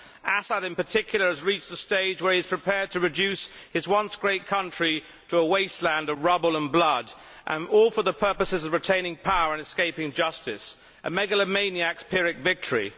Assad, in particular, has reached the stage where he is prepared to reduce his once great country to a wasteland of rubble and blood, all for the purposes of retaining power and escaping justice a megalomaniac's Pyrrhic victory.